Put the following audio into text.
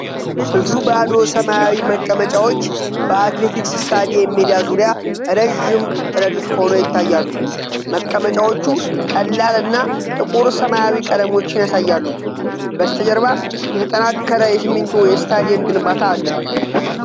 ብዙ ባዶ ሰማያዊ መቀመጫዎች በአትሌቲክስ ስታዲየም ሜዳ ዙሪያ ረዥም ረድፍ ሆነው ይታያሉ። መቀመጫዎቹ ቀላል እና ጥቁር ሰማያዊ ቀለሞችን ያሳያሉ። በስተጀርባ የተጠናከረ የሲሚንቶ የስታዲየም ግንባታ አለ።